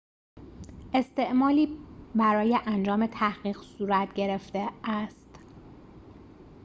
استعلامی برای انجام تحقیق صورت گرفته است